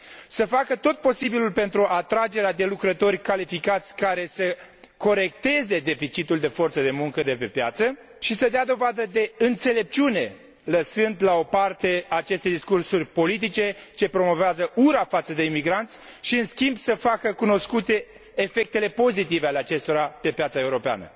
să facă tot posibilul pentru atragerea de lucrători calificați care să corecteze deficitul de forță de muncă de pe piață, să dea dovadă de înțelepciune, lăsând la o parte aceste discursuri politice ce promovează ura față de imigranți și, în schimb, să facă cunoscute efectele pozitive ale acestora pe piața europeană.